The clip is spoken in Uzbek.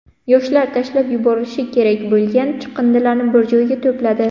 Yoshlar tashlab yuborilishi kerak bo‘lgan chiqindilarni bir joyga to‘pladi.